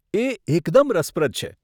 એ એકદમ રસપ્રદ છે.